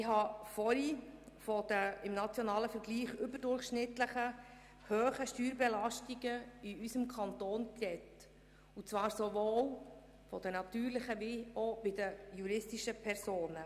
Ich habe zuvor von den überdurchschnittlichen Steuerbelastungen in unserem Kanton gesprochen sowohl bei den natürlichen als auch bei den juristischen Personen.